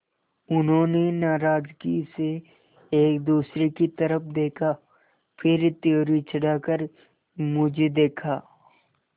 उन्होंने नाराज़गी से एक दूसरे की तरफ़ देखा फिर त्योरी चढ़ाकर मुझे देखा